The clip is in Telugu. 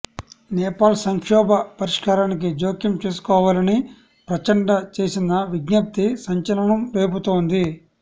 నేపాల్ సంక్షోభ పరిష్కారానికి జోక్యం చేసుకోవాలని ప్రచండ చేసిన విజ్ఞప్తి సంచలనం రేపుతోంది